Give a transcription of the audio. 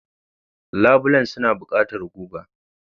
Labulen suna buƙatar guga.